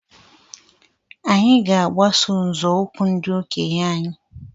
Anyị ga-agbaso nzọụkwụ ndi okenye anyị.